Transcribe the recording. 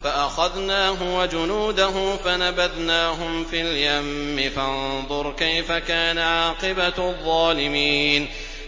فَأَخَذْنَاهُ وَجُنُودَهُ فَنَبَذْنَاهُمْ فِي الْيَمِّ ۖ فَانظُرْ كَيْفَ كَانَ عَاقِبَةُ الظَّالِمِينَ